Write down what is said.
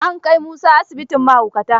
An kai Musa asibitin mahaukata.